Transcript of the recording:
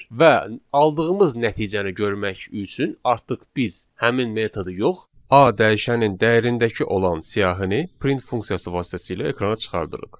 Və aldığımız nəticəni görmək üçün artıq biz həmin metodu yox, A dəyişənin dəyərindəki olan siyahını print funksiyası vasitəsilə ekrana çıxardırıq.